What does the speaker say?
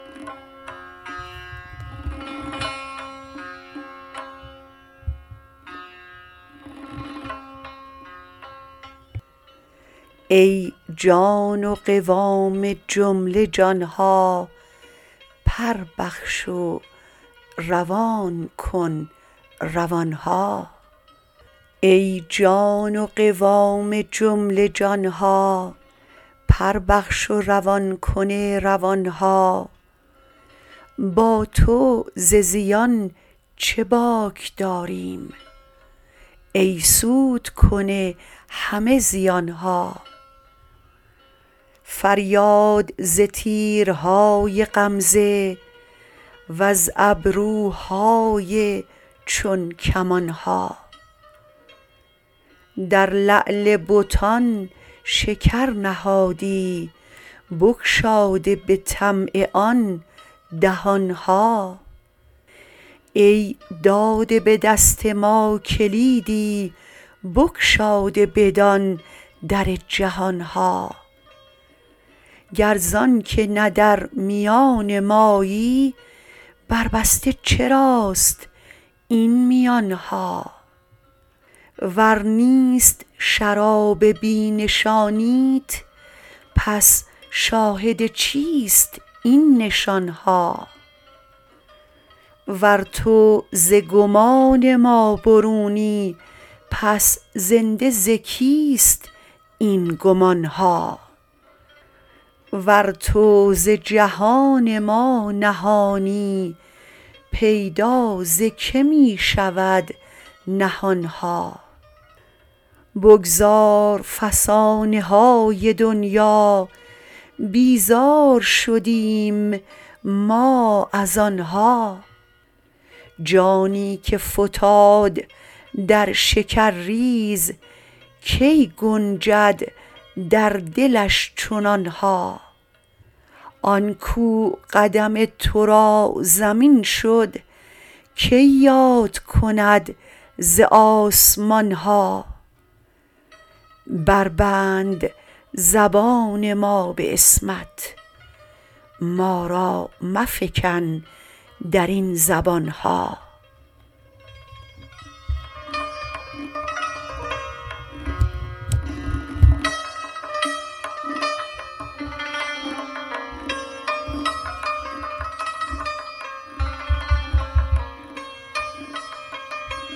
ای جان و قوام جمله جان ها پر بخش و روان کن روان ها با تو ز زیان چه باک داریم ای سودکن همه زیان ها فریاد ز تیرهای غمزه وز ابروهای چون کمان ها در لعل بتان شکر نهادی بگشاده به طمع آن دهان ها ای داده به دست ما کلیدی بگشاده بدان در جهان ها گر زانک نه در میان مایی برجسته چراست این میان ها ور نیست شراب بی نشانیت پس شاهد چیست این نشان ها ور تو ز گمان ما برونی پس زنده ز کیست این گمان ها ور تو ز جهان ما نهانی پیدا ز که می شود نهان ها بگذار فسانه های دنیا بیزار شدیم ما از آن ها جانی که فتاد در شکرریز کی گنجد در دلش چنان ها آن کاو قدم تو را زمین شد کی یاد کند ز آسمان ها بربند زبان ما به عصمت ما را مفکن در این زبان ها